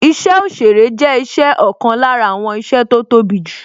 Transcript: Isẹ òsèrè jẹ́ isẹ ọ̀kan lára àwọn iṣẹ́ tó tóbi jù